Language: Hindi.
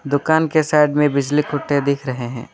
दुकान के साइड में बिजली कुत्ते दिख रहे हैं।